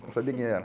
Não sabia quem era.